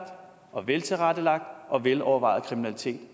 veltilrettelagt og velovervejet kriminalitet